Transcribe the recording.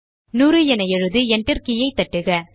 100 என எழுதி enter key தட்டுக